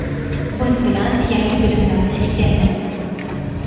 biz bilan yangi bilimlarni egallang.